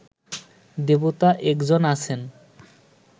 দেবতা এক জন আছেন